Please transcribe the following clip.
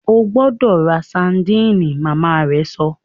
O gbọdọ rá sardine! Màmá rẹ sọ